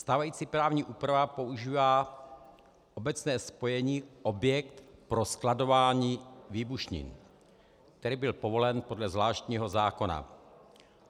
Stávající právní úprava používá obecné spojení objekt pro skladování výbušnin, který byl povolen podle zvláštního zákona.